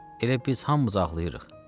Elə biz hamımız ağlayırıq.